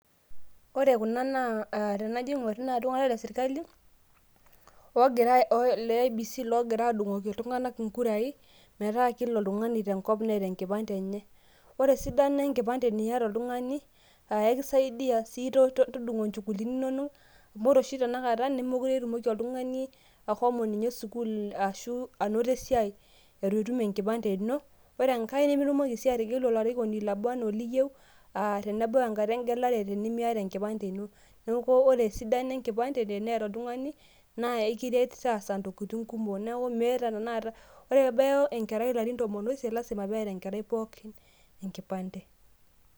Ore kuna naa aah tanajaingur naa ltunganak le serkali ogira ee leiebc logira adungoki ltunganak inkurai, metaa kila oltungani neeta enkipande enye. Ore eisidano enkipande teniata oltungani naa aa ekisaidia sii tontokitin inonok mindim inye ashomo sukul arashu esiaai itutum enkipande ino, nemitomoki si ategelu olarikoni onaa anaa oliyiou tenebau enkata engelare ,neaku ore esidano enkipande eneeta oltungani na ekintaas ntokitin kumok .ore pebaya enkerai ilarin tomon oisiet lazima leeta enkipande pookin enkipande.